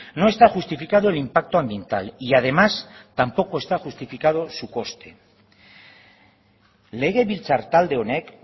no está justificado el impacto ambiental y además tampoco está justificado su coste legebiltzar talde honek